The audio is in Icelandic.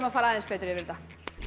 að fara aðeins betur yfir þetta